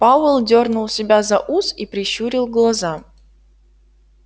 пауэлл дёрнул себя за ус и прищурил глаза